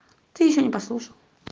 ты ещё не послушал